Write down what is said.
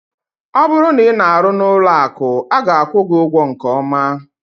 Ọ bụrụ na ị na-arụ ọrụ n'ụlọ akụ, a ga-akwụ gị ụgwọ nke ọma.